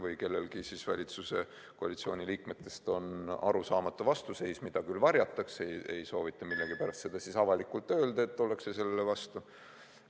Või on kellelgi valitsuskoalitsiooni liikmetest arusaamatu vastuseis, mida küll varjatakse, ei soovita millegipärast seda avalikult öelda, et ollakse selle vastu.